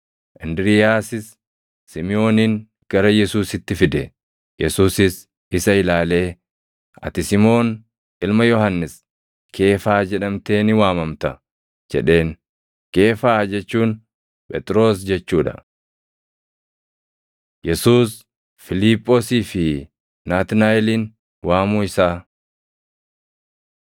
Indiriiyaasis Simʼoonin gara Yesuusitti fide. Yesuusis isa ilaalee, “Ati Simoon ilma Yohannis, Keefaa jedhamtee ni waamamta” jedheen. Keefaa jechuun Phexros jechuu dha. Yesuus Fiiliphoosii fi Naatnaaʼelin Waamuu Isaa